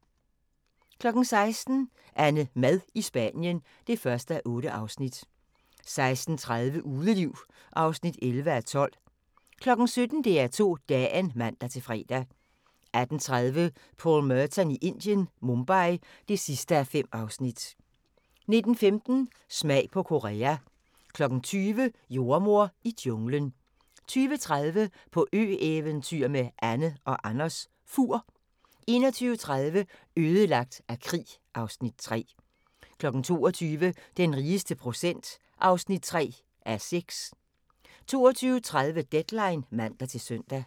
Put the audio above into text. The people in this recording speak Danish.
16:00: AnneMad i Spanien (1:8) 16:30: Udeliv (11:12) 17:00: DR2 Dagen (man-fre) 18:30: Paul Merton i Indien - Mumbai (5:5) 19:15: Smag på Korea 20:00: Jordemoder i junglen 20:30: På ø-eventyr med Anne & Anders - Fur 21:30: Ødelagt af krig (Afs. 3) 22:00: Den rigeste procent (3:6) 22:30: Deadline (man-søn)